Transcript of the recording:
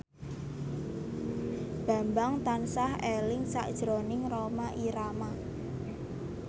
Bambang tansah eling sakjroning Rhoma Irama